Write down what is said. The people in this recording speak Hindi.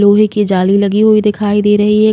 लोहे की जाली लगी हुई दिखाई दे रही है।